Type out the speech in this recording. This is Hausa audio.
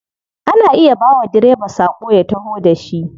Ana iya bawa direba sako ya taho da shi.